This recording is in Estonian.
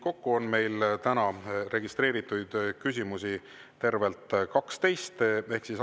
Kokku on meil täna registreeritud tervelt 12 küsimust.